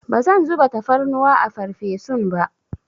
Bazan zuba tafarnuwa a farfesun ba.